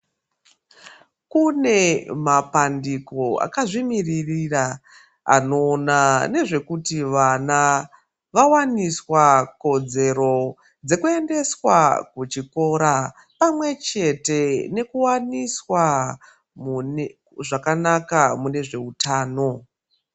Kune mapandiko akazvimiririra anoona nezvekuti vane vawaniswa kodzero dzekuendeswa kuchikora pamwechete nekuwaniswa mune zvakanaka mune zveutano.